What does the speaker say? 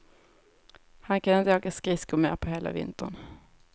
Han kan inte åka skridskor mer på hela vintern.